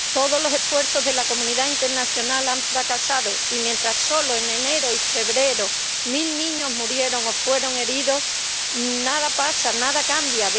Todos los esfuerzos de la comunidad internacional han fracasado, y mientras solo en enero y febrero mil niños murieron o fueron heridos, nada pasa, nada cambia.